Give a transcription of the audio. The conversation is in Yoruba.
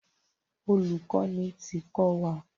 Olùkọ́ni ti kọ́ wa.